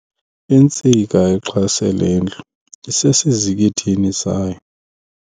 Intsika exhase lendlu isesizikithini sayo.